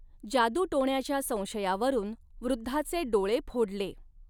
जादूटोण्याच्या संशयावरून वृद्धाचे डोळे फोडले.